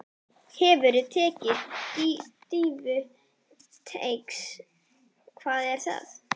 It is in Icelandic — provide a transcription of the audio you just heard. Hefurðu tekið dýfu innan teigs: Hvað er það?